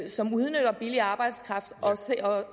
som udnytter billig arbejdskraft